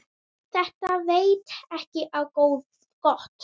Þetta veit ekki á gott.